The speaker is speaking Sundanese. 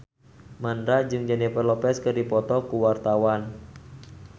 Mandra jeung Jennifer Lopez keur dipoto ku wartawan